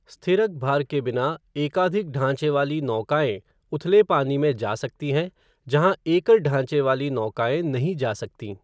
स्थिरक भार के बिना, एकाधिक ढाँचे वाली नौकाएँ उथले पानी में जा सकती हैं जहां एकल ढाँचे वाली नौकाएँ नहीं जा सकतीं।